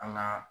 An ga